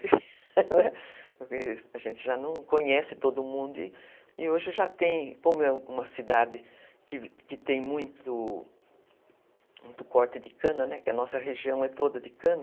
Porque a gente já não conhece todo mundo e hoje já tem, como é uma cidade que que tem muito muito corte de cana, né, que a nossa região é toda de cana,